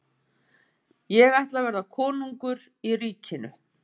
Ég ætla að verða konungur í ríkinu.